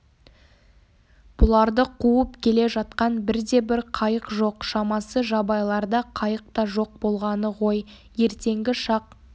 бұларды қуып келе жатқан бірде-бір қайық жоқ шамасы жабайыларда қайық та жоқ болғаны ғой ертеңгі шақ